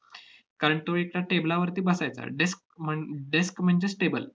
कारण तो एकतर table वरती बसायचा. desk म्हण~ desk म्हणजेच table